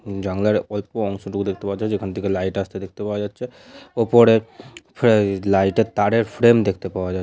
উম জানলার ঐটুকু অংশ টুকু দেখতে পাওয়া যাচ্ছে। যেখান থেকে লাইট আসতে দেখতে পাওয়া যাচ্ছে ওপরে ফ্রে লাইট এর তারের ফ্রেম দেখতে পাওয়া যা--